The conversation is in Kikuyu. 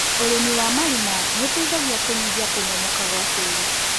ũrĩmi wa marima nĩũteithagia kũnyihia kũmomoka gwa tĩri.